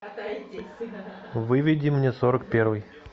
выведи мне сорок первый